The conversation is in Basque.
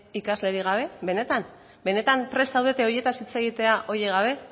ikaslerik gabe benetan benetan prest zaudete horietaz hitz egitera horiek gabe